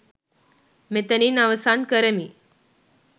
මෙතනින් අවසන් කරමි.